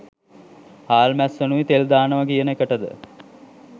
හාල්මැස්සනුයි තෙල් දානව කියන එකටද?